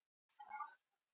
Borðið endaði í bílrúðunni